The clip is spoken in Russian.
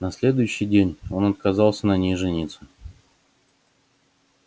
на следующий день он отказался на ней жениться